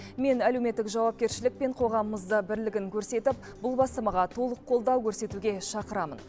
мен әлеуметтік жауапкершілік пен қоғамымызды бірлігін көрсетіп бұл бастамаға толық қолдау көрсетуге шақырамын